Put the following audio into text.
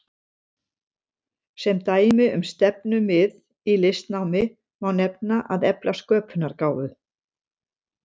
Sem dæmi um stefnumið í listnámi má nefna að efla sköpunargáfu.